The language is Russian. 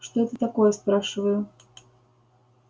это что такое спрашиваю